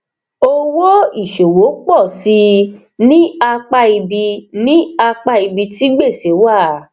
owó ìṣòwò pọ síi ní apá ibi ní apá ibi tí gbèsè wà